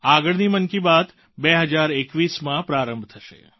આગળની મન કી બાત 2021માં પ્રારંભ થશે